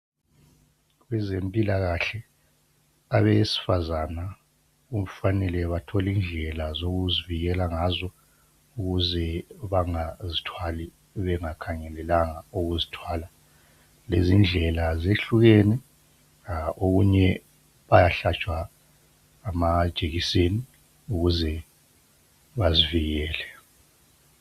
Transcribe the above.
Abezempilakahle abesifazana kufanele bathole indlela zokuzivikela ngazo ukuze bangazithwali bengakhangelelanga ukuzithwala. Lezindlela zehlukene okunye bayahlatshwa amajekiseni ukuze bazivikele.